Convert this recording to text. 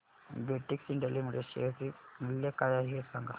Betex India limited share चे मूल्य काय आहे हे सांगा